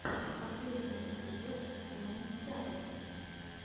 последний эпизод тимон чавес